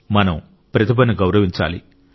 మనం ప్రతిభను గౌరవించాలి